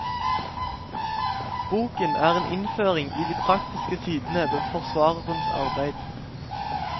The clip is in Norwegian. Boken er en innføring i de praktiske sidene ved forsvarerens arbeid.